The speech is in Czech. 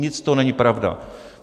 Nic z toho není pravda!